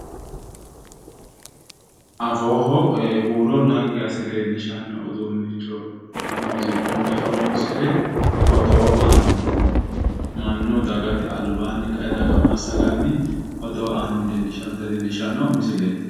Afooho huuro naggi asse leellishanno uduunnicho muuziiqunniha horonsire odoo aanni mannu dagate albaanni kae daga massaganni odoo aanni noota leellishshannota leellishanno misileeti.